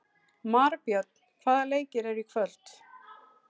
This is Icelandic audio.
Marbjörn, hvaða leikir eru í kvöld?